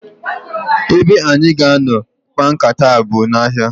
Ebe anyị ga-anọ kpaa nkata a bụ n'ahịa.